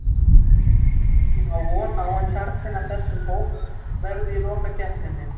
Ég á von á að kjarninn af þessum hóp verði í lokakeppninni.